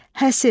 Həsir.